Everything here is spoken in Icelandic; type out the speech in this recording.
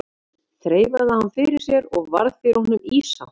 Þreifaði hann þá fyrir sér og varð fyrir honum ýsa.